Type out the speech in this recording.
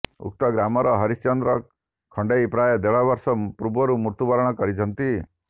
ଉକ୍ତ ଗ୍ରାମର ହରିଶ୍ଚନ୍ଦ୍ର ଖଣ୍ଡେଇ ପ୍ରାୟ ଦେଢ ବର୍ଷ ପୂର୍ବ ମୃତ୍ୟୁବରଣ କରିଛନ୍ତି